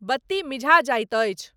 बत्ती मिझा जाइत अछि।